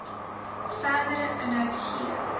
verdere inhoud gee